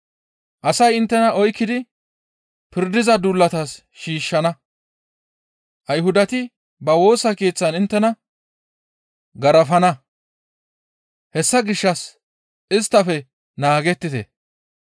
Asay inttena oykkidi pirdiza duulatas shiishshana; Ayhudati ba Woosa Keeththan inttena garafana; hessa gishshas isttafe naagettite.